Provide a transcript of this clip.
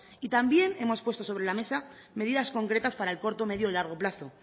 y también hemos puesto sobre la mesa medidas concretas para el corto medio y largo plazo